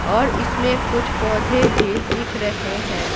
और इसमें कुछ पौधे भी दिख रहे हैं।